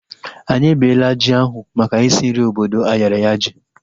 Anyị ebela ji ahu maka isi nri obodo ayaraya ji